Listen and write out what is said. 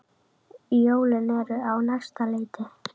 Jólin eru á næsta leiti.